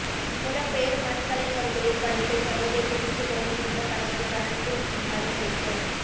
புலம்பெயர் மண்கலைஞர்களின் படைப்பை சர்வதேசத்திற்கு கொண்டு சென்ற கலைஞர் பிரான்சில் மதிப்பளிப்பு